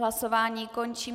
Hlasování končím.